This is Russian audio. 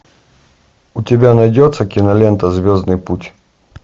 у тебя найдется кинолента звездный путь